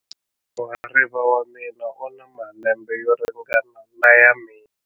Muhariva wa mina u na malembe yo ringana na ya mina.